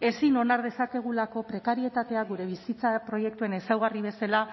ezin onar dezakegulako prekarietatea gure bizitza proiektuen ezaugarri bezala